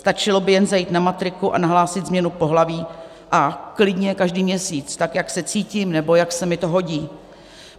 Stačilo by jen zajít na matriku a nahlásit změnu pohlaví a klidně každý měsíc, tak jak se cítím nebo jak se mi to hodí.